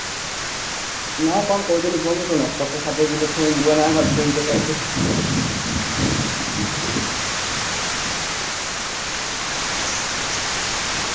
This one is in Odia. ନା କଣ କହୁଥିଲି କୁହନି ଶୁଣ ପଚାଶ ଷାଠିଏ କିଲେ ଛୁଇଁ ଯିବ ନା ଆମର ଛୁଇଁ ତରକାରୀ ହବ।